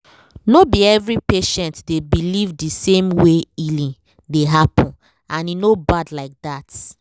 no be every patient dey believe the same way healing dey happen — and e no bad like that